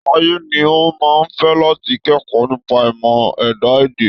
Táyé ní òun máa fé láti kẹ́kọ̀ọ́ nípa ìmọ̀ ẹ̀dá-èdẹ̀.